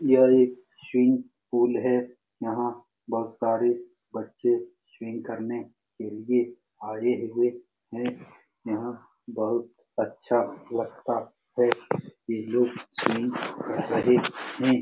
यह एक swimming pool है यहाँ पर बहुत सारे बच्चे स्विमिंग करने के लिए आए हुए हैं यह बहुत अच्छा लगता है ये लोग स्विमिंग कर रहे हैं ।